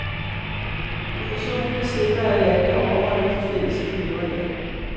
Kommissionen vil sikre, at landene overholder de fælles miljøregler.